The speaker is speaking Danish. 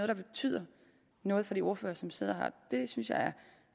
der betyder noget for de ordførere som sidder her det synes jeg